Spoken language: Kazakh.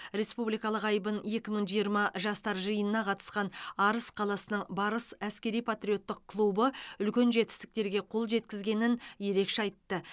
республикалық айбын екі мың жиырма жастар жиынына қатысқан арыс қаласының барыс әскери патриоттық клубы үлкен жетістіктерге қол жеткізгенін ерекше айтты